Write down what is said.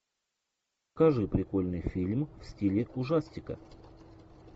покажи прикольный фильм в стиле ужастика